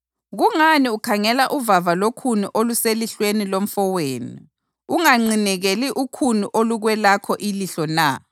Kungani ukhangela uvava lokhuni oluselihlweni lomfowenu unganqinekeli ukhuni olukwelakho ilihlo na?